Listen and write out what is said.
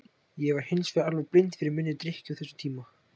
Ég var hins vegar alveg blind fyrir minni drykkju á þessum tíma.